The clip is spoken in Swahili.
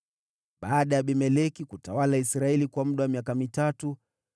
Baada ya Abimeleki kutawala Israeli kwa muda wa miaka mitatu,